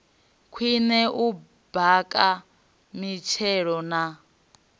khwine u baka mitshelo na